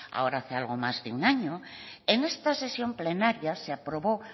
ahora hace algo más de un año en esta sesión plenaria se aprobó